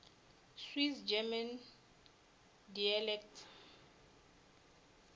swiss german dialects